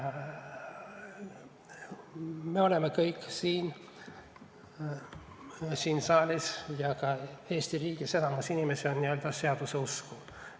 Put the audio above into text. Me oleme kõik siin saalis – ja enamik inimesi Eesti riigis on – n-ö seaduse usku.